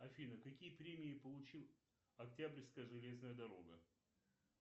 афина какие премии получил октябрьская железная дорога